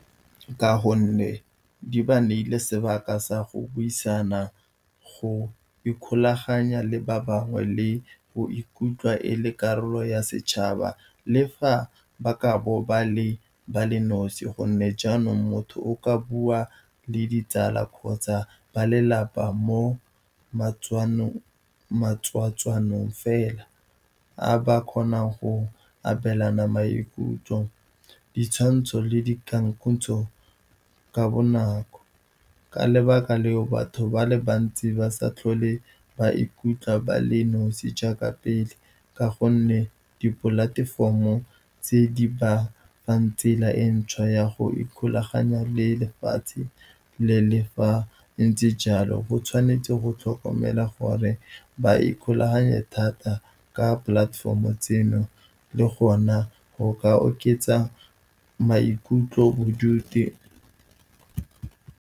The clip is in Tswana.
Ka gonne di ba neile sebaka sa go buisana, go ikgolaganya le ba bangwe le go ikutlwa e le karolo ya setšhaba, le fa ba ka bo ba le nosi, gonne jaanong, motho o ka bua le ditsala kgotsa ba lelapa mo matswatswanong fela, a ba kgonang go abelana maikutlo, ditshwantsho le dikgangkhutswe ka bonako. Ka lebaka leo, batho ba le bantsi ba sa tlhole ba ikutlwa bale nosi jaaka pele, ka gonne di platform-o tse di ba fang tsela e ntšhwa ya go ikgolaganya le lefatshe. Le fa go ntse jalo, go tshwanetse go tlhokomela gore ba ikgolaganye thata ka platform-o tseno, le gona go ka oketsa maikutlo bodutu.